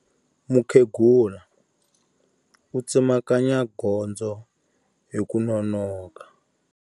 Mukhegula u tsemakanya gondzo hi ku nonoka.